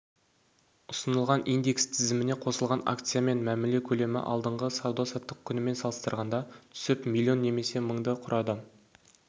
ұсынылған индекс тізіміне қосылған акциямен мәміле көлемі алдыңғы сауда-саттық күнімен салыстырғанда түсіп млн немесе мыңды құрады